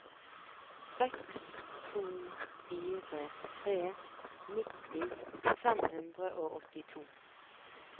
seks to fire tre nitti fem hundre og åttito